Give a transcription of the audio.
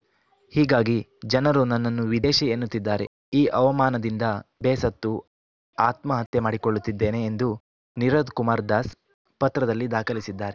ಹೀಗಾಗಿ ಜನರು ನನ್ನನ್ನು ವಿದೇಶಿ ಎನ್ನುತ್ತಿದ್ದಾರೆ ಈ ಅವಮಾನದಿಂದ ಬೇಸತ್ತು ಆತ್ಮಹತ್ಯೆ ಮಾಡಿಕೊಳ್ಳುತ್ತಿದ್ದೇನೆ ಎಂದು ನಿರೋದ್‌ಕುಮಾರ್‌ ದಾಸ್‌ ಪತ್ರದಲ್ಲಿ ದಾಖಲಿಸಿದ್ದಾರೆ